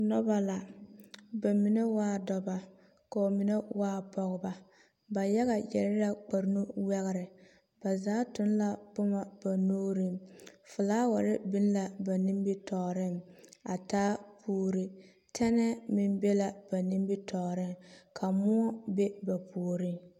Noba la, ba mine waa dɔba kɔɔ menɛ waa Pɔgeba. Ba yaga yɛre la kparnuwɛgre. Ba zaa toŋ la boma ba nuuriŋ. Folaware biŋ la ba nimitɔɔreŋ a taa puuri. Tɛnɛɛ meŋ be la be nimitɔɔreŋ ka moɔ be ba puoriŋ.